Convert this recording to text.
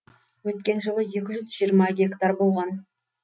өткен жылы екі жүз жиырма гектар болған